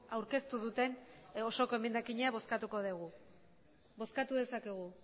aurkeztu duten osoko emendakina bozkatuko dugu bozkatu dezakegu